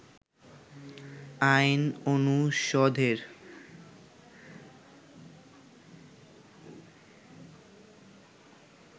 আইন অনুষদের